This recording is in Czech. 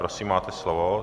Prosím, máte slovo.